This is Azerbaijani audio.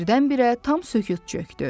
Birdən-birə tam sükut çökdü.